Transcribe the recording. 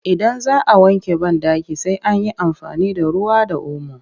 Idan za a wanke banɗaki sai an yi amfani da ruwa da omo